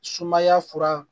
Sumaya fura